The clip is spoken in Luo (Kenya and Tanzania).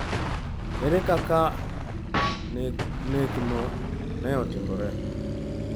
Ere kaka nekgo ne otimore?